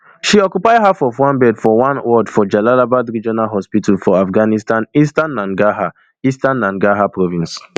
she occupy half of one bed for one ward for jalalabad regional hospital for afghanistan eastern nangarhar eastern nangarhar province